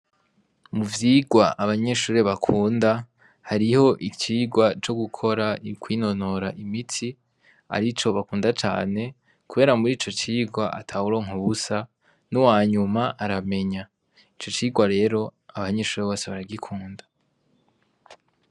Mu vyigwa abanyeshure bakunda hariho icigwa co gukora kwinonora imitsi arico bakunda cane kubera muri ico cigwa atawuronka ubusa n'uwanyuma aramenya, ico cigwa rero abanyeshure bose baragikunda.